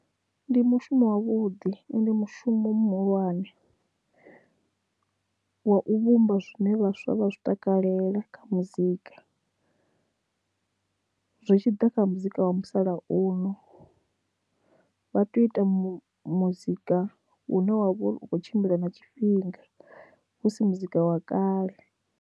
Ndi mushumo wavhuḓi ende mushumo muhulwane wa u vhumba zwine vhaswa vha zwi takalela kha muzika, zwitshiḓa kha muzika wa musalauno vha tea u ita mu muzika u ne wa vha u kho tshimbila na tshifhinga husi muzika wa kale.